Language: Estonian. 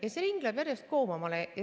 Ja see ring läheb järjest koomale.